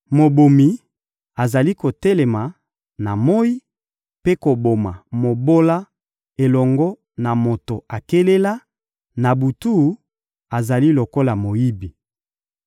Mobomi azali kotelema na moyi mpe koboma mobola elongo na moto akelela; na butu, azali lokola moyibi.